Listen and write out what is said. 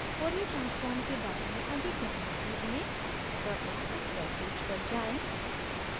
fourier transform के बारे में अधिक जानने के लिए कृपया इस webpage पर जाएँ